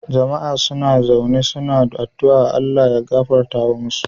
Jama a suna zaune suna adua ALLAH ya gafarta wa musa